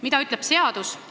Mida ütleb seadus?